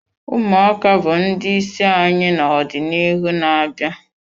Ụmụaka bụ ndị isi anyị n'ọdịnihu na-abịa